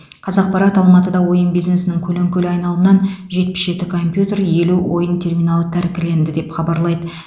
қазақпарат алматыда ойын бизнесінің көлеңкелі айналымынан жетпіс жеті компьютер елу ойын терминалы тәркіленді деп хабарлайды